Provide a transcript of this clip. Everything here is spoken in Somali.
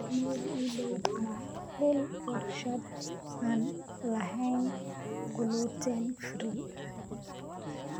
meel ii dhow ka hel warshad aan lahayn gluten-free